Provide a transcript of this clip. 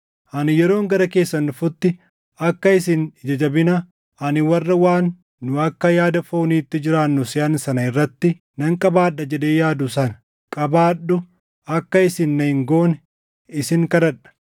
Ani yeroon gara keessan dhufutti akka isin ija jabina ani warra waan nu akka yaada fooniitti jiraannu seʼan sana irratti nan qabaadha jedhee yaadu sana qabaadhu akka isin na hin goone isin kadhadha.